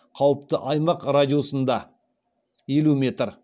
қауіпті аймақ радиусында